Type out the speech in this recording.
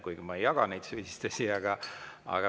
Kuigi ma ei jaga neid süüdistusi.